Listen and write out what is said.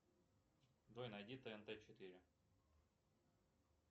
джой найди тнт четыре